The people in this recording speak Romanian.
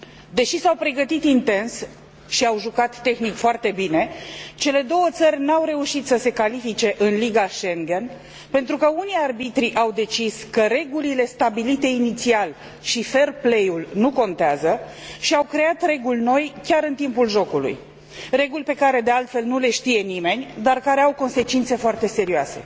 Deși s au pregătit intens și au jucat tehnic foarte bine, cele două țări nu au reușit să se califice în Liga Schengen, pentru că unii arbitri au decis că regulile stabilite inițial și fair play ul nu contează și au creat reguli noi chiar în timpul jocului, reguli pe care, de altfel, nu le știe nimeni, dar care au consecințe foarte serioase.